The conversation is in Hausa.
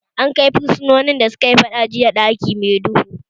An kai fursunoni da sukayi faɗa jiya ɗaki mai duhu